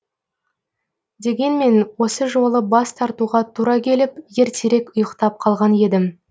дегенмен осы жолы бас тартуға тура келіп ертерек ұйықтап қалған едім